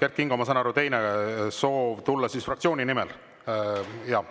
Kert Kingo, ma saan aru, et teil oli soov tulla fraktsiooni esindajana.